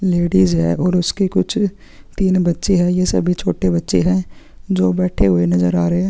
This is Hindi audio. लेडिस है और उसके कुछ तीन बच्चे है ये सभी छोटे बच्चे है जो बैठे हुए नज़र आ रहे है।